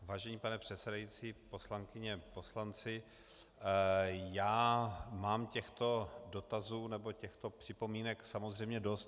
Vážený pane předsedající, poslankyně, poslanci, já mám těchto dotazů nebo těchto připomínek samozřejmě dost.